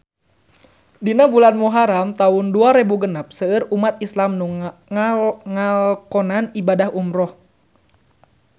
Dina bulan Muharam taun dua rebu genep seueur umat islam nu ngalakonan ibadah umrah